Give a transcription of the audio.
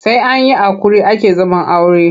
Sai an yi haƙuri ake zaman aure.